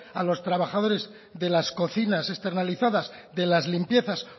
a los trabajadores de las cocinas externalizadas de las limpiezas